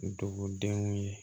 Dugudenw ye